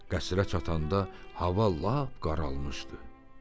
Qəsrə çatanda hava lap qaralmışdı.